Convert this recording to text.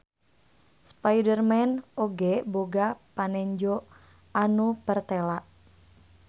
Spiderman oge boga panenjo anu pertela.